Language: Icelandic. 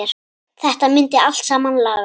Þetta myndi allt saman lagast.